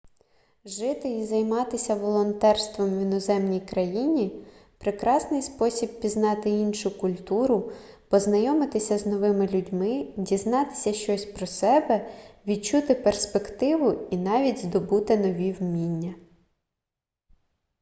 жити і займатися волонтерством в іноземній країні прекрасний спосіб пізнати іншу культуру познайомитися з новими людьми дізнатися щось про себе відчути перспективу і навіть здобути нові вміння